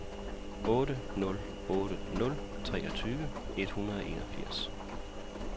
otte nul otte nul treogtyve et hundrede og enogfirs